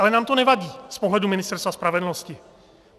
Ale nám to nevadí z pohledu Ministerstva spravedlnosti.